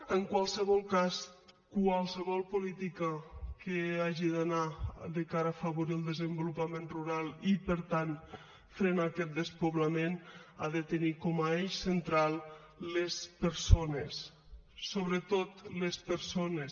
en qualsevol cas qualsevol política que hagi d’anar de cara a afavorir el desenvolupament rural i per tant frenar aquest despoblament ha de tenir com a eix central les persones sobretot les persones